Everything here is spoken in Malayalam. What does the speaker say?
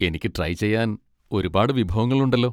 എനിക്ക് ട്രൈ ചെയ്യാൻ ഒരുപാട് വിഭവങ്ങളുണ്ടല്ലോ.